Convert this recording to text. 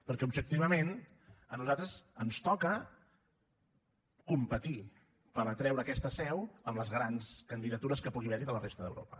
perquè objectivament a nosaltres ens toca competir per atraure aquesta seu amb les grans candidatures que pugui haver hi de la resta d’europa